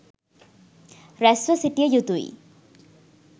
රැස්ව සිටිය යුතු යි.